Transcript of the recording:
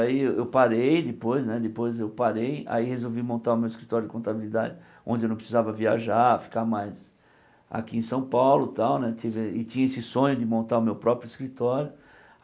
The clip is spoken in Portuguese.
Aí eu parei, depois né depois eu parei, aí resolvi montar o meu escritório de contabilidade, onde eu não precisava viajar, ficar mais aqui em São Paulo tal né, tive e tinha esse sonho de montar o meu próprio escritório.